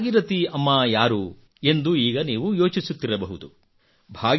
ಈ ಭಾಗೀರಥಿ ಅಮ್ಮಾ ಯಾರು ಎಂದು ಈಗ ನೀವು ಯೋಚಿಸುತ್ತಿರಬಹುದು